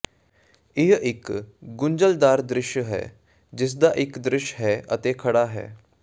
ਇਹ ਇਕ ਗੁੰਝਲਦਾਰ ਦ੍ਰਿਸ਼ ਹੈ ਜਿਸਦਾ ਇਕ ਦ੍ਰਿਸ਼ ਹੈ ਅਤੇ ਖੜ੍ਹਾ ਹੈ